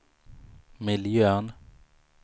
miljön